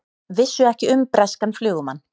Vissu ekki um breskan flugumann